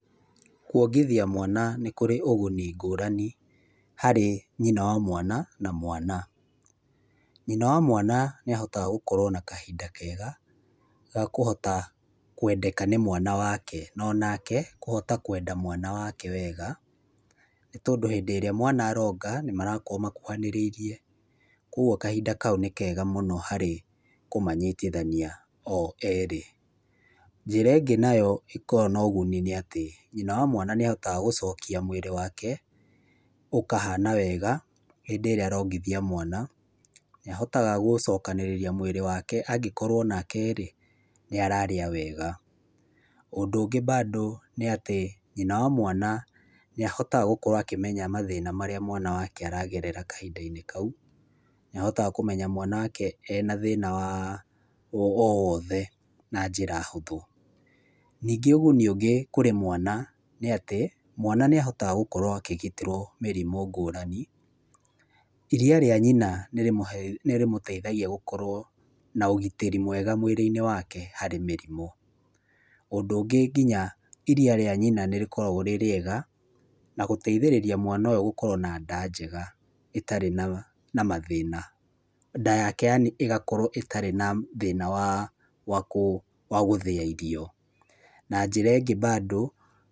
Kuongithia mwana nĩ kũrĩ ũguni ngũrani harĩ nyina wa mwana na mwana. Nyina wa mwana nĩ ahotaga gũkorwo na kahinda kega ga kũhota kwendeka nĩ mwana wake, no anake akahota kwenda mwana wake wega nĩ tondũ hĩndĩ ĩrĩa mwana aronga nĩ marakorwo makuhanĩrĩirie, kũoguo kahinda kau nĩ kega mũno harĩ kũmanyitithania o erĩ. Njĩra ĩngĩ ĩkoragwo na ũguni nĩ atĩ, nyina wa mwana nĩ ahotaga gũcokia mwĩrĩ wake ũkahana wega hĩndĩ ĩrĩa arongithia mwana, nĩ ahotaga gũcokanĩrĩria mwĩrĩ wake angĩkorwo onake-rĩ nĩ ararĩa wega. Ũndũ ũngĩ mbandũ nĩ atĩ, nyina wa mwana nĩ ahotaga kũmenya mathĩna marĩa mwana aragerera kahinda-inĩ kau. Nĩahotaga kũmenya mwana wake ena thĩna o wothe na njĩra hũthũ. Ningĩ ũguni ũngĩ harĩ mwana nĩ atĩ, mwana nĩ ahotaga gũkorwo akĩgitĩrwo mĩrimũ ngũrani, iria rĩa nyina nĩrĩmũteithagia gũkorwo na ũgitĩri mwega mwĩrĩ-inĩ wake harĩ mĩrimũ. Ũndũ ũngĩ nginya iria rĩa nyina nĩ rĩkoragwo rĩrĩega na gũteithĩrĩria mwana ũyũ gũkorwo ena nda ngega ĩtarĩ na mathĩna, nda yake yani ĩgakorwo ĩtarĩ na thĩna wa gũthĩa irio na njĩra ĩngĩ mbandũ.